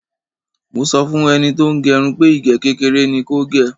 Mo sọ fún ẹni tí ó ń gẹrun pé ìgé kékeré ni kò gè.